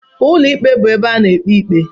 Ụlọ ikpe bụ ebe a na-ekpe ikpe.